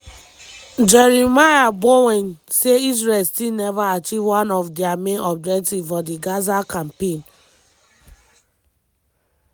dis fit come at a high human and material costs for di jewish state" im explain.